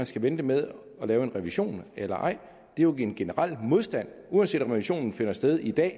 skal vente med at lave en revision eller ej det er jo en generel modstand uanset om revisionen finder sted i dag